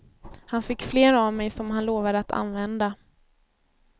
Han fick flera av mig som han lovade att använda.